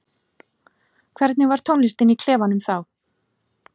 Hvernig var tónlistin í klefanum þá?